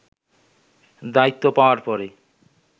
দায়িত্ব পাওয়ার পরে